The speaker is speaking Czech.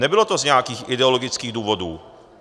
Nebylo to z nějakých ideologických důvodů.